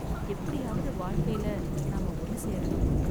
எப்படியாவது வாழ்க்கையில நாம ஒன்னு சேரனும்